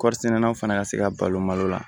Kɔrisɛnɛ law fana ka se ka balo malo la